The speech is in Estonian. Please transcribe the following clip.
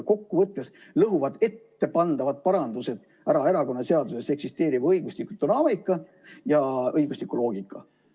Kokkuvõttes lõhuvad ettepandavad parandused ära erakonnaseaduses eksisteeriva õigusliku dünaamika ja õigusliku loogika.